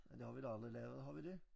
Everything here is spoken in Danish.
Det har vi da aldrig lavet har vi det?